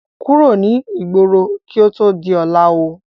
Kúrò ní igbóro kí ó tó di ọlá ó!